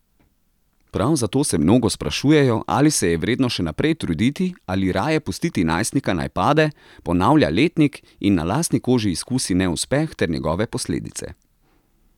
Prav zato se mnogo sprašujejo, ali se je vredno še naprej truditi ali raje pustiti najstnika naj pade, ponavlja letnik in na lastni koži izkusi neuspeh ter njegove posledice.